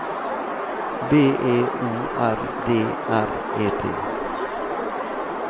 B E O R D R E T